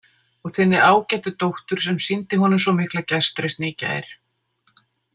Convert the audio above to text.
Og þinni ágætu dóttur sem sýndi honum svo mikla gestrisni í gær.